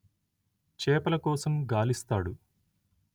చేపల కోసం గాలిస్తాడు